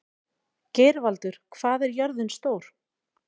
Geirvaldur, hvað er jörðin stór?